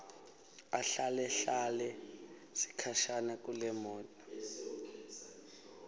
ahlalahlale sikhashana kulemoto